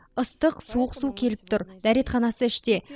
ыстық суық су келіп тұр дәретханасы іште